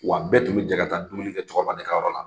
Wa bɛɛ tun bɛ jɛ ka taa dumuni kɛ cɛkɔrɔba de ka yɔrɔ la.